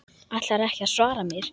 Ætlarðu ekki að svara mér?